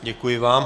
Děkuji vám.